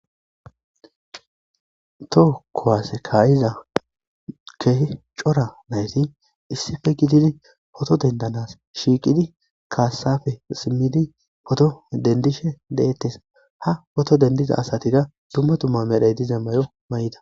Toho kowasse kaayiza kehe cora nayti issife gidini poto dendanas shiiqidi kaassafe simmidi poto dendishe de7ettes ha poto dendiza asatida dumma tumma medhaydi zemmayo may7ida.